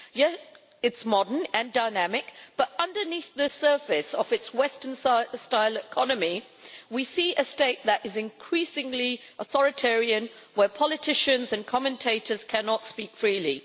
Yes, it is modern and dynamic, but underneath the surface of its Western style economy we see a state that is increasingly authoritarian, where politicians and commentators cannot speak freely.